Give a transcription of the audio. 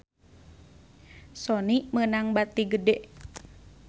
Sony meunang bati gede